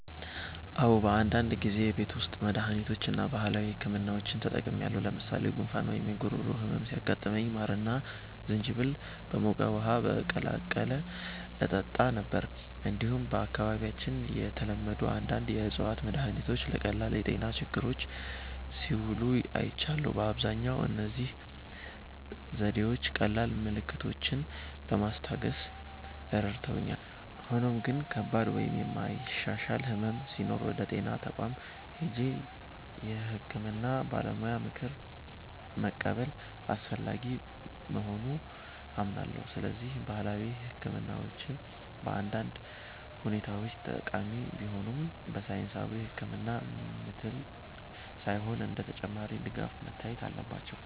"አዎ፣ በአንዳንድ ጊዜ የቤት ውስጥ መድሃኒቶችን እና ባህላዊ ሕክምናዎችን ተጠቅሜያለሁ። ለምሳሌ ጉንፋን ወይም የጉሮሮ ህመም ሲያጋጥመኝ ማርና ዝንጅብል በሞቀ ውሃ በመቀላቀል እጠጣ ነበር። እንዲሁም በአካባቢያችን የተለመዱ አንዳንድ የእፅዋት መድሃኒቶች ለቀላል የጤና ችግሮች ሲውሉ አይቻለሁ። በአብዛኛው እነዚህ ዘዴዎች ቀላል ምልክቶችን ለማስታገስ ረድተውኛል፣ ሆኖም ግን ከባድ ወይም የማይሻሻል ሕመም ሲኖር ወደ ጤና ተቋም ሄጄ የሕክምና ባለሙያ ምክር መቀበል አስፈላጊ መሆኑን አምናለሁ። ስለዚህ ባህላዊ ሕክምናዎች በአንዳንድ ሁኔታዎች ጠቃሚ ቢሆኑም፣ በሳይንሳዊ ሕክምና ምትክ ሳይሆን እንደ ተጨማሪ ድጋፍ መታየት አለባቸው።"